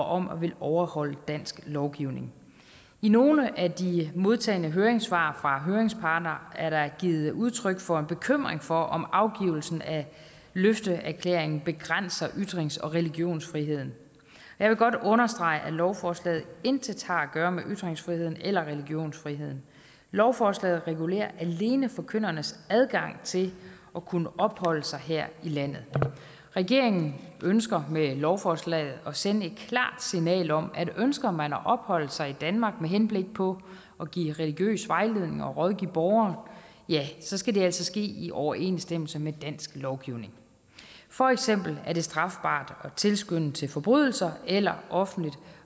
om at ville overholde dansk lovgivning i nogle af de modtagne høringssvar fra høringsparterne er der givet udtryk for en bekymring for om afgivelsen af løfteerklæringen begrænser ytrings og religionsfriheden jeg vil godt understrege at lovforslaget intet har at gøre med ytringsfriheden eller religionsfriheden lovforslaget regulerer alene forkyndernes adgang til at kunne opholde sig her i landet regeringen ønsker med lovforslaget at sende et klart signal om at ønsker man at opholde sig i danmark med henblik på at give religiøs vejledning og rådgive borgere skal det altså ske i overensstemmelse med dansk lovgivning for eksempel er det strafbart at tilskynde til forbrydelser eller offentligt